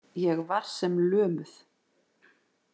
Ég var sem lömuð.